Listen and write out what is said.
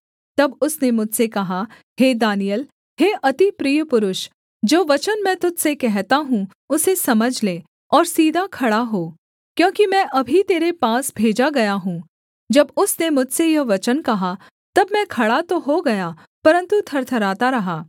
तब उसने मुझसे कहा हे दानिय्येल हे अति प्रिय पुरुष जो वचन मैं तुझ से कहता हूँ उसे समझ ले और सीधा खड़ा हो क्योंकि मैं अभी तेरे पास भेजा गया हूँ जब उसने मुझसे यह वचन कहा तब मैं खड़ा तो हो गया परन्तु थरथराता रहा